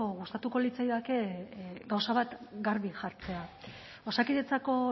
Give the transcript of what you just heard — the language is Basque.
gustatuko litzaidake gauza bat garbi jartzea osakidetzako